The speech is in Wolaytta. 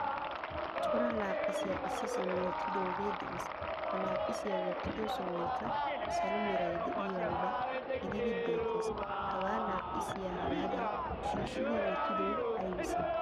Cora laaphphisiyaa issisan wottidoge de'ees. Ha laaphphisiyaa wottido sohoykka salo meray de'iyoba gididi beettees. Hagaa laaphphisiyaa hagadan shiishidi wottidoy aybise?